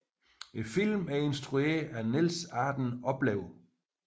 Filmen er instrueret af Niels Arden Oplev